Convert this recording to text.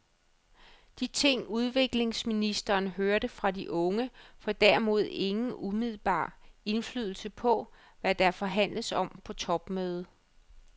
De ting udviklingsministeren hørte fra de unge får derimod ingen umiddelbar indflydelse på, hvad der forhandles om på topmødet.